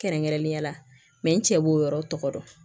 Kɛrɛnkɛrɛnnenya la n cɛ b'o yɔrɔ tɔgɔ tɔgɔ dɔn